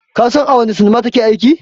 Ka san a wanne sinima ta ke aiki?